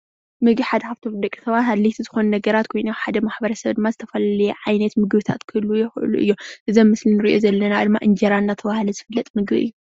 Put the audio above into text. ምግቢ ሓደ ካብቶም ንደቂ ሰባት ኣድለይቲ ዝኾኑ ነገራት ኮይኑ፤ ሓደ ማሕበረሰ ግን ድማ ዝተፈላለየ ዓይነት ምግብታት ክህልውዎ ይኽእሉ እዮም። እዚ ኣብ ምስሊ ንርእዮ ዘለና ድማ እንጀራ እናተባሃለ ዝፍለጥ ምግቢ እዩ።